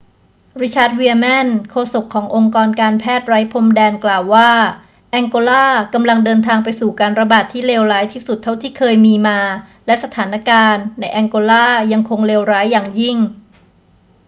richard veerman โฆษกขององค์การแพทย์ไร้พรมแดน กล่าวว่า แองโกลากำลังเดินทางไปสู่การระบาดที่เลวร้ายที่สุดเท่าที่เคยมีมา และสถานการณ์ในแองโกลายังคงเลวร้ายอย่างยิ่ง